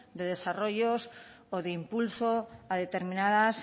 de desarrollos o de impulso a determinadas